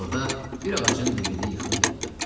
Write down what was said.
Elə orda bir ağacın dibində yıxılıb yatdı.